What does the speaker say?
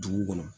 Dugu kɔnɔ